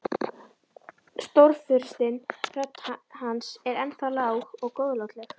Stórfurstinn, rödd hans er ennþá lág og góðlátleg.